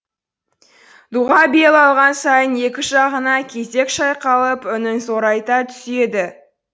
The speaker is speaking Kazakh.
дұға бел алған сайын екі жағына кезек шайқалып үнін зорайта түседі